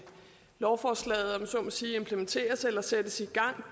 lovforslaget om jeg så må sige implementeres eller sættes i gang